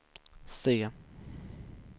se